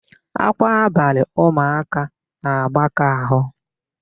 Ákwá abalị ụmụaka na-agbaka áhụ̀.